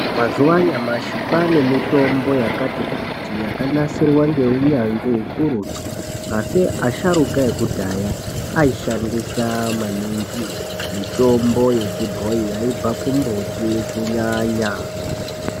Mazuwa anyamashi kwane mitombo yakati kuti yakanasirwa neunyanzvi ukurutu. Asi asharuka ekidhaya ayishandisa maninhi mitomno yechibhoyi yaibva kimbuti kunyanya.